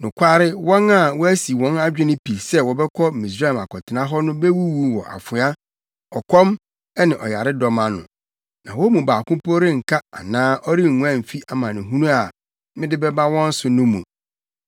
Nokware wɔn a wɔasi wɔn adwene pi sɛ wɔbɛkɔ Misraim akɔtena hɔ no bewuwu wɔ afoa, ɔkɔm ne ɔyaredɔm ano, na wɔn mu baako po renka anaa ɔrenguan mfi amanehunu a mede bɛba wɔn so no mu.’